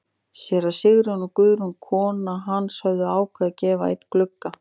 Séra Sigurjón og Guðrún kona hans höfðu ákveðið að gefa einn gluggann.